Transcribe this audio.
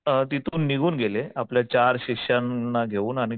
अ तिथून निघून गेले आपले चार शिष्यांना घेऊन आणि